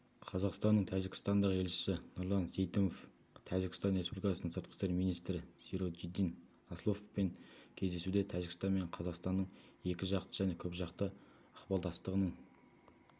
қазақстанның тәжікстандағы елшісі нұрлан сейтімов тәжікстан республикасының сыртқы істер министрі сироджиддин асловпен кездесуде тәжікстан мен қазақстанның екіжақты және көпжақты ықпалдастықтығының